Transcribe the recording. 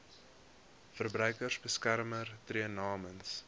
verbruikersbeskermer tree namens